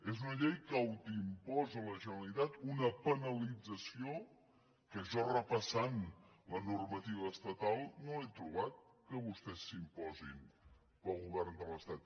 és una llei que autoimposa a la generalitat una penalització que jo repassant la normativa estatal no he trobat que vostès s’imposin per al govern de l’estat